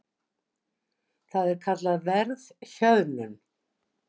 Það er kallað verðhjöðnun.